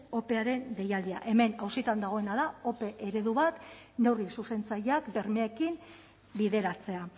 opearen deialdia hemen auzitan dagoena da ope eredu bat neurri zuzentzaileak bermeekin bideratzea